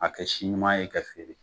A kɛ si ɲuman ye ka feere